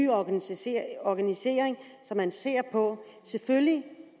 organisering som man ser på selvfølgelig